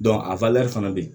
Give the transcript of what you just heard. a fana bɛ yen